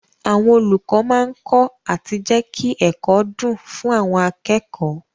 Àwọn olùkọ́ máa kọ́ àti jẹ́kí ẹ̀kọ́ dùn fún àwọn akẹ́kọ̀ọ́.